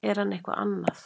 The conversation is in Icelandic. er hann eitthvað annað